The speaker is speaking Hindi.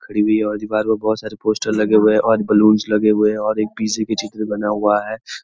खड़ी हुई है और जी बाहर पर बहोत सारे पोस्टर लगे हुए हैं और बलूनस लगे हुए है और एक पिज़्ज़ा का चित्र बना हुआ है।